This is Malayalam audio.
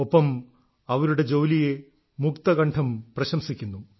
ഒപ്പം അവരുടെ ജോലിയെ മുക്തകണ്ഠം പ്രശംസിക്കുന്നു